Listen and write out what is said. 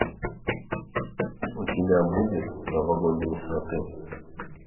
у тебя будет новогодние сваты